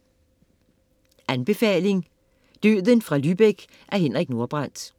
Anbefaling: Døden fra Lübeck af Henrik Nordbrandt